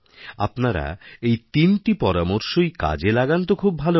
আপনারা এই তিনটি পরামর্শইকাজে লাগান তো খুব ভাল হয়